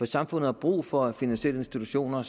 samfund har brug for finansielle institutioner